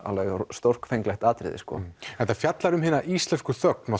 stórfenglegt atriði þetta fjallar um hina íslensku þögn og